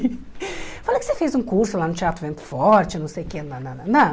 Fala que você fez um curso lá no Teatro Vento Forte, não sei o que, nananana.